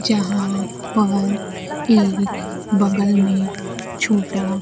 यहां पर एक बगल में छोटा--